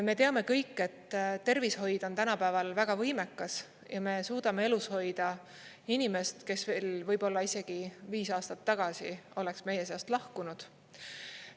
Me teame kõik, et tervishoid on tänapäeval väga võimekas ja me suudame elus hoida inimest, kes veel võib-olla isegi viis aastat tagasi oleks meie seast lahkunud.